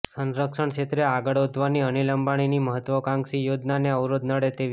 સંરક્ષણ ક્ષેત્રે આગળ વધવાની અનિલ અંબાણીની મહત્ત્વાકાંક્ષી યોજનાને અવરોધ નડે તેવી